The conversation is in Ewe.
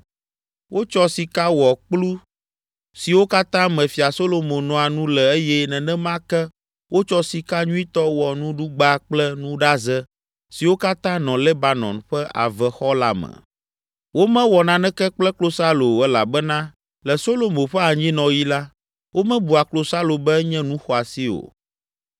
Wotsɔ sika wɔ kplu siwo katã me Fia Solomo noa nu le eye nenema ke wotsɔ sika nyuitɔ wɔ nuɖugba kple nuɖaze siwo katã nɔ Lebanon Ƒe Avexɔ la me. Womewɔ naneke kple klosalo o elabena le Solomo ƒe anyinɔɣi la, womebua klosalo be enye nu xɔasi o.